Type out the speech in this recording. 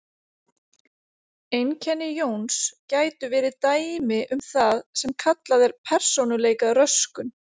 Einkenni Jóns gætu verið dæmi um það sem kallað er persónuleikaröskun.